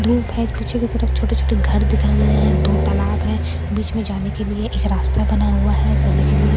धूप है पीछे की तरफ छोटे-छोटे घर दिखाई दे रहे हैं दो तालाब है बीच में जाने के लिए एक रास्ता बना हुआ है सभी के लिए--